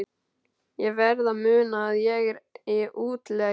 Ég verð að muna að ég er í útlegð.